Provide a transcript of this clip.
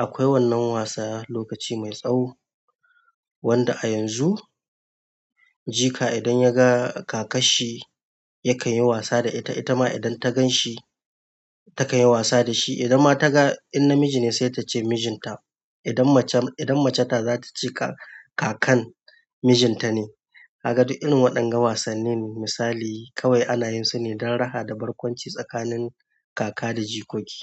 Akwai wannan wasa lokaci mai tsawo wanda a yanzu jika idan ya ga kakar shi yakan yi wasa da ita, ita ma idan ta gan shi takan yi wasa da shi. Idan ma ta ga in namiji ne sai ta ce mijin ta. Idan mace, idan mace ta za ta ce ka-kakan mijin ta ne. Ka ga duk irin waɗannan wasanni misali kawai ana yin su ne don raha da barkwanci tsakanin kaka da jikoki.